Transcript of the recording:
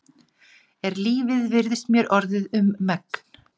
Er lífið virðist mér orðið um megn.